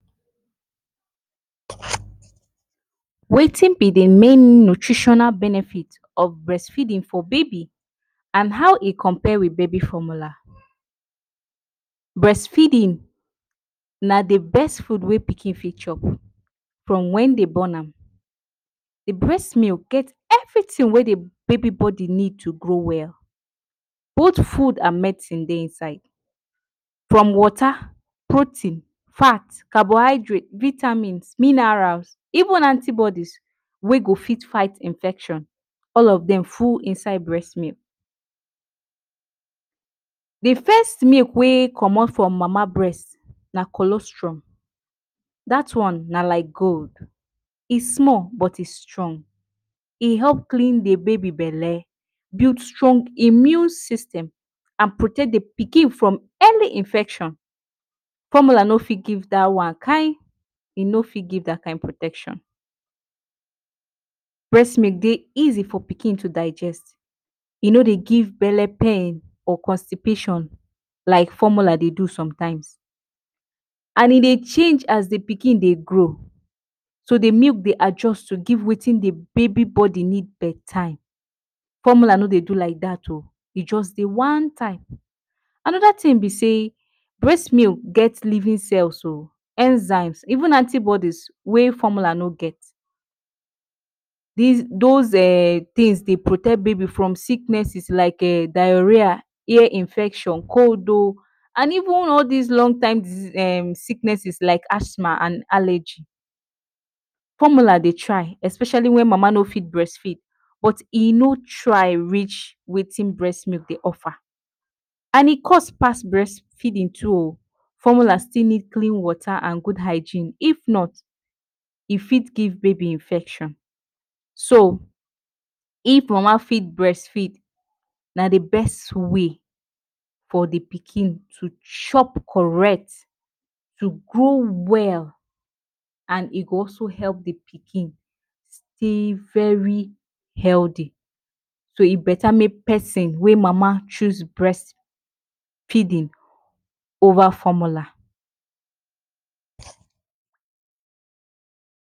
Wetin be the main nutritional benefit of brest feedin for baby and how e compare baby wit formular? Brest feedin na the best fud wey pikin fit chop from wen dey born am, the brest milk get every tin wey the baby body need to grow well, both fud and medicine dey inside. From wota, protein, fat, carbohydrate, vitamin, minerals even anti bodies wey go fit fight infection all of dem full inside brest milk. The first milk wey comot from mama brest na cholesterol, dat one na like gold, e small but e strong. E help clean the baby bele, build strong immune system and protect the pikin from any infection. Formular no fit give da one, kai! E no fit give dat protection. Brest milk dey easy for pikin to digest, e no dey give bele pain or constipation like formular dey do some times. And e dey change as the pikin dey grow so the milk dey adjust to give wetin the baby body need per time, formular no dey do like dat o, e just dey one time. Anoda tin be sey brest milk get livin cells o, enzymes even anti bodies wey formula no get. Dis dos um tins dey protect baby from sicknessess diareer, ear infection, cold o and even all dis long time um sicknesses like athma and alegy. Formular dey try especiali wen mama no fit brest feed but e no try rich wetin brest milk dey offer and e cost pass brest feedin too o. Formular still need clean wota and gud hygiene, if not, e fit give baby infection. So, if mam fit brest feed, na the best way for the pikin to chop correct to grow well and e go also help the pikin stay very healthy. So e beta mek pesin wey mama choose breast feedin ova formula.